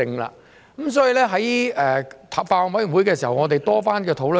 所以，在法案委員會上，我們曾多番討論。